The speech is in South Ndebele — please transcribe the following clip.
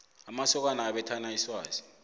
amasokana abethana iswazi